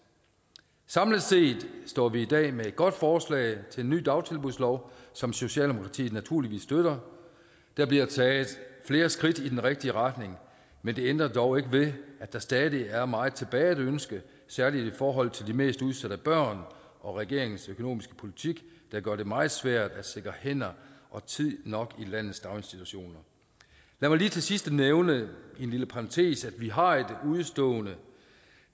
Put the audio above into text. samlet set står vi i dag med et godt forslag til en ny dagtilbudslov som socialdemokratiet naturligvis støtter der bliver taget flere skridt i den rigtige retning men det ændrer dog ikke ved at der stadig er meget tilbage at ønske særligt i forhold til de mest udsatte børn og regeringens økonomiske politik der gør det meget svært at sikre hænder og tid nok i landets daginstitutioner lad mig lige til sidst nævne i en lille parentes at vi har et udestående